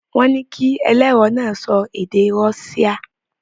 Wọ́n ní kí ẹlẹ́rọ̀ náà sọ èdè Rọ́ṣíà.